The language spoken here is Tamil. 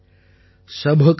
सभ कौ एकै घड़ै कुम्हार ||